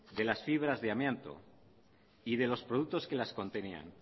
de las fibras de amianto y de los productos que las contenían